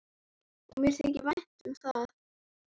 Og mér þykir vænt um það.